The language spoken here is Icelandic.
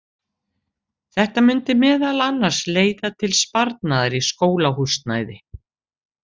Þetta mundi meðal annars leiða til sparnaðar í skólahúsnæði.